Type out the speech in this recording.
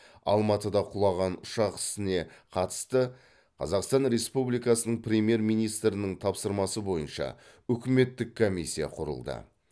алматыда құлаған ұшақ ісіне қатысты қазақстан республикасының премьер министрінің тапсырмасы бойынша үкіметтік комиссия құрылды